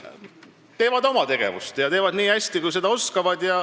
Nad teevad oma tegevusi ja teevad neid nii hästi, kui nad oskavad.